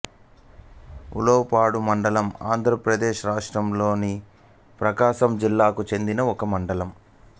ఉలవపాడు మండలం ఆంధ్రప్రదేశ్ రాష్ట్రంలోని ప్రకాశం జిల్లాకు చెందిన ఒక మండలం